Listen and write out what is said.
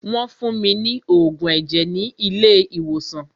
Wọ́n fún mí ní oògùn ẹ̀jẹ̀ ni ilé ìwòsàn.